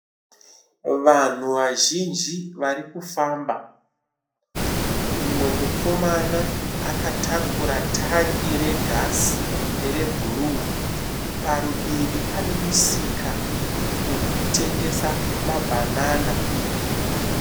Vanhu vazhinji vari kufamba. Mumwe mukomana akatakura tangi regasi rebhuru. Parudivi pane musika uri kutengesa mabhanana.